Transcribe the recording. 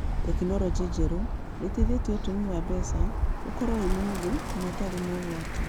Tekinoronjĩ njerũ nĩ ĩteithĩtie ũtũmi wa mbeca ukorwo wĩ mũ hũthũ na ũtarĩ na ũgwati